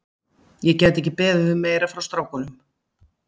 Ég gæti ekki beðið um meira frá strákunum.